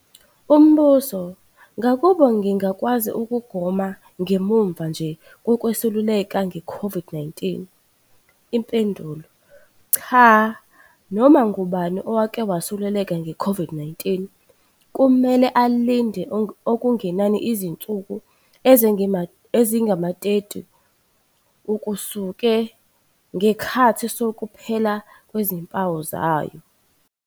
Umbuzo- Ngakube ngingakwazi ukugoma ngemuva nje kokwesuleleka ngeCOVID-19? Impendulo- Cha. Noma ngubani oke wasuleleka ngeCOVID-19 kumele alinde okungenani izinsuku ezingama-30 ukusuka nge ikhathi sokuphela kwezimpawu zayo.